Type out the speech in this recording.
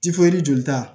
jolita